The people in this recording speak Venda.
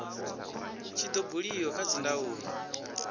tshi do buliwa kha dzindaulo